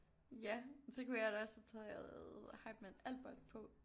Ja men så kunne jeg da også have taget Hypeman Albert på